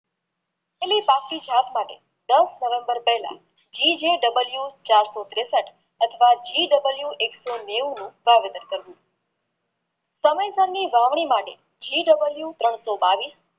એલી બાકી જાત પાટે દસ નવેમ્બર પહેલા GJW ચારસો ત્રેષઠ અથવા એક સો નેવુંનું વાવેતર કર્યું સમયસરની વાવણી માટે GW ત્રણસો બાવીશ